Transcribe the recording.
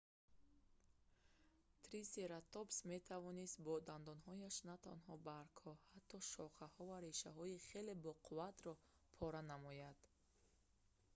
трисератопс метавонст бо дандонҳояш натанҳо баргҳо ҳатто шохаҳо ва решаҳои хеле боқувватро пора намояд